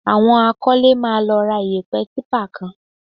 Àwọn akọ́lé máa lọ ra iyẹ̀pẹ̀ típà kan